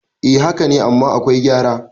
eh haka ne amma akwai gyara